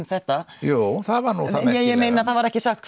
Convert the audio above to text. þetta jú það var nú það merkilega nei ég meina það var ekki sagt